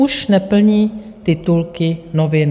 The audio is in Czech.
Už neplní titulky novin.